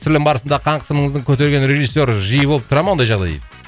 түсірілім барысында қан қысымыңыздың көтерген режиссері жиі болып тұра ма ондай жағдай дейді